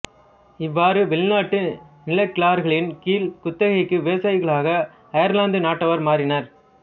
இவ்வாறு வெளிநாட்டு நிலக்கிழார்கள்களின் கீழ் குத்தகை விவசாயிகளாக அயர்லாந்தது நாட்டவர் மாறினர்